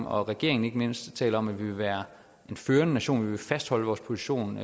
og regeringen ikke mindst taler om at vi vil være en førende nation vi vil fastholde vores position